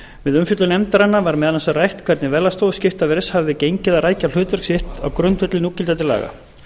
við umfjöllun nefndarinnar var meðal annars rætt um hvernig verðlagsstofu skiptaverðs hefði gengið að rækja hlutverk sitt á grundvelli núgildandi laga